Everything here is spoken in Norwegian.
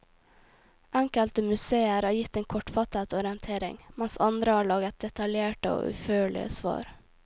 Enkelte museer har gitt en kortfattet orientering, mens andre har laget detaljerte og utførlige svar.